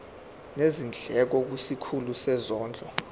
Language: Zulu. nezindleko kwisikhulu sezondlo